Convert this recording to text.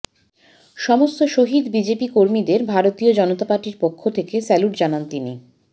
সমস্ত শহিদ বিজেপি কর্মীদের ভারতীয় জনতা পার্টির পক্ষ থেকে স্যালুট জানান তিনি